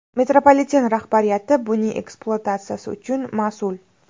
Metropoliten rahbariyati buning ekspluatatsiyasi uchun mas’ul.